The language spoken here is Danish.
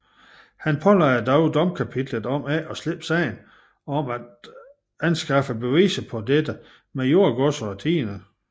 Han pålagde dog domkapitlet om ikke at slippe sagen og om af anskaffe beviser på dette med jordgodser og tiende